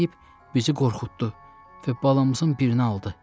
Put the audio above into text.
Deyib bizi qorxutdu və balamızın birini aldı.